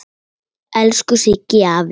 Elsku Siggi afi.